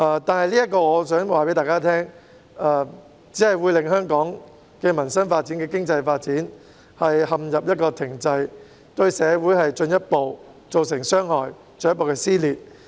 不過，我想告訴大家，這樣只會令香港的民生和經濟發展陷入停滯，對社會造成進一步的傷害，導致進一步的撕裂。